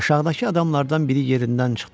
Aşağıdakı adamlardan biri yerindən çıxdı.